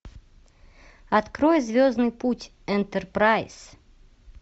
открой звездный путь энтерпрайз